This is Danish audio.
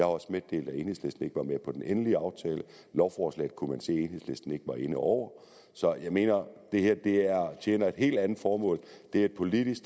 også meddelt at enhedslisten ikke var med på den endelige aftale lovforslaget kunne man se at enhedslisten ikke var inde over så jeg mener at det her tjener et helt andet formål det er et politisk